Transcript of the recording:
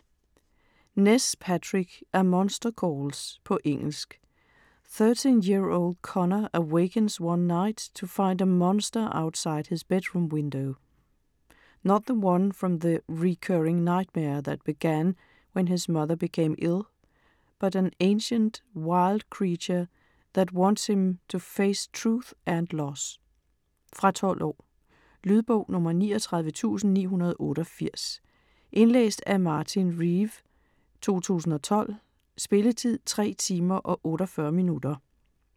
Ness, Patrick: A monster calls På engelsk. Thirteen-year-old Conor awakens one night to find a monster outside his bedroom window. Not the one from the recurring nightmare that began when his mother became ill but an ancient, wild creature that wants him to face truth and loss. Fra 12 år. Lydbog 39988 Indlæst af Martin Reeve, 2012. Spilletid: 3 timer, 48 minutter.